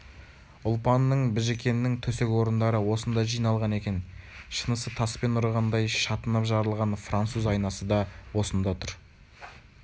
ұлпанның біжікеннің төсек-орындары осында жиналған екен шынысы таспен ұрғандай шатынап жарылған француз айнасы да осында тұр